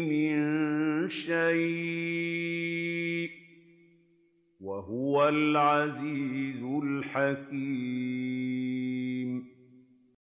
مِن شَيْءٍ ۚ وَهُوَ الْعَزِيزُ الْحَكِيمُ